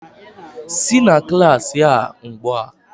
Sị na klaasị a ugbu a!